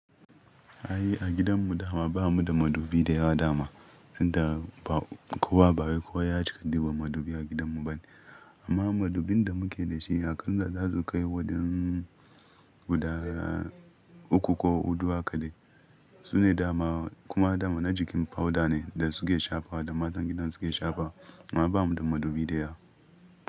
Ai a gidan mu dama ba mu da madubi da yawa dama, inda ba kowa ba wai kowa ya cika diban madubi a gidan mu bane. Amma madubin da muke da shi akanl za su kai wajan guda uku ko hudu hakadai. Su ne dama kuma dama na jikin powder ne da suke shafa da matan gidan suke shafa. Amma ba mu da madubi da yawa.